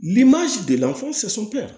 Ni delila